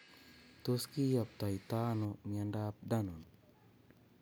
Tos kiyoptoitoi ano miondop danon